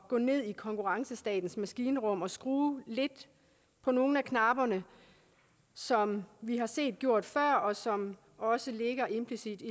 gå ned i konkurrencestatens maskinrum og skrue lidt på nogle af knapperne som vi har set det gjort før og som også ligger implicit i